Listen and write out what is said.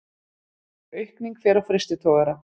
Aukning fer á frystitogara